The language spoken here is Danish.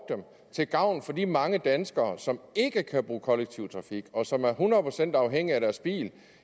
til gavn for de mange danskere som ikke kan bruge kollektiv trafik og som er hundrede procent afhængige af deres bil